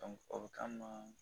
o bɛ k'an ma